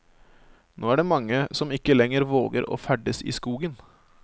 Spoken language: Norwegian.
Nå er det mange som ikke lenger våger å ferdes i skogen.